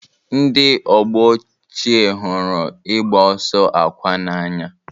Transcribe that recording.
Ndị ọgbọ ochie hụrụ ịgba ọsọ akwa n'anya.